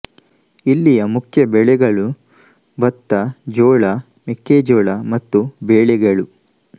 ಇಲ್ಲಿಯ ಮುಖ್ಯ ಬೆಳೆಗಳು ಬತ್ತ ಜೋಳ ಮೆಕ್ಕೆ ಜೋಳ ಮತ್ತು ಬೇಳೆಗಳು